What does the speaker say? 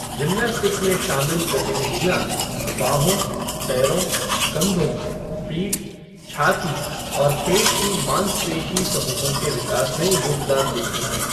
Gymnastic में शामिल गतिविधियाँ बाहों, पैरों, कंधों, पीठ, छाती और पेट की माँसपेशी समूहों के विकास में योगदान देती हैं।